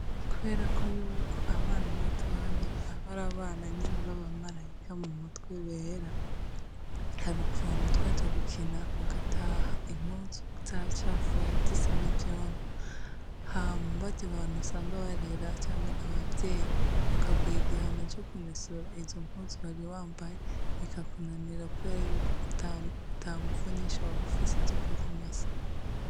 Kuberako yuko abana batoya bamarabana nyene babamarayika mumutwe bera harukuntu twaja gukina tugataha impuzu zacafuye zisa nivyondo hama baryabantu usanga barera canke abavyeyi bakaguha igihano cokumesura izompuzu wariwambaye bikakunanira kuberayuko atanguvu nyinshi wabufise zokuzimesa